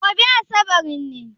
Gobe asabar ne?